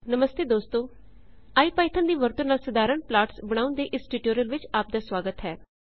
ਨਮਸਤੇ ਦੋਸਤੋ ਇਪੀਥੌਨ ਦੀ ਵਰਤੋ ਨਾਲ ਸਾਧਾਰਣ ਪਲਾਟ੍ਸ ਬਣਾਉਣ ਦੇ ਇਸ ਟਿਊਟੋਰੀਅਲ ਵਿੱਚ ਆਪ ਦਾ ਸੁਆਗਤ ਹੈ